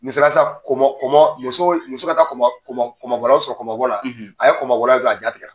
Misala san komɔ komɔ muso n muso ka taa koma komɔ komɔ bɔlaw sɔrɔ kɔmɔ bɔla, a ye kɔmɔ bɔla ye dɔrɔn, a ja tigɛra.